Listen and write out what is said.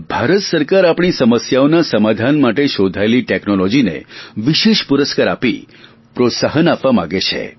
ભારત સરકાર આપણી સમસ્યાઓના સમાધાન માટે શોધાયેલી ટેકનોલોજીને વિશેષ પુરસ્કાર આપી પ્રોત્સાહન આપવા માગે છે